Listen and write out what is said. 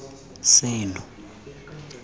seno